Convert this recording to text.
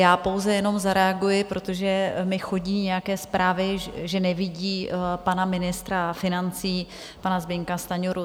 Já pouze jenom zareaguji, protože mi chodí nějaké zprávy, že nevidí pana ministra financí, pana Zbyňka Stanjuru.